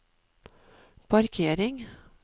parkering